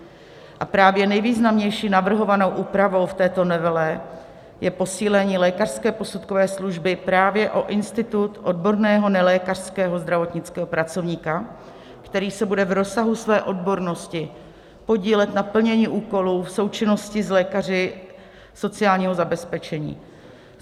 A právě nejvýznamnější navrhovanou úpravou v této novele je posílení lékařské posudkové služby právě o institut odborného nelékařského zdravotnického pracovníka, který se bude v rozsahu své odbornosti podílet na plnění úkolů v součinnosti s lékaři sociálního zabezpečení.